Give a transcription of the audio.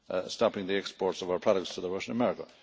of stopping the export of our products to the Russian market.